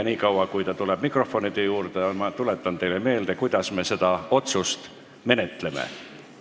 Nii kaua, kuni ta tuleb mikrofoni juurde, tuletan teile meelde, kuidas me seda otsuse eelnõu menetleme.